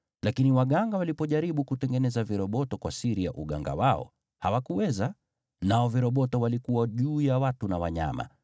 Lakini waganga walipojaribu kutengeneza viroboto kwa siri ya uganga wao, hawakuweza. Nao viroboto walikuwa juu ya watu na wanyama.